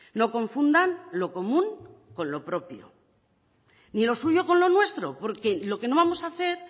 no confundan lo común con lo propio ni lo suyo con lo nuestro porque lo que no vamos a hacer